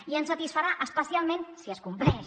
i ens satisfarà especialment si es compleix